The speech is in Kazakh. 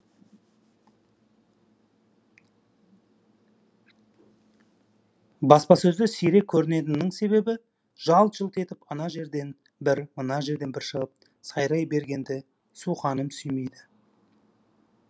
баспасөзде сирек көрінетінімнің себебі жалт жұлт етіп ана жерден бір мына жерден бір шығып сайрай бергенді суқаным сүймейді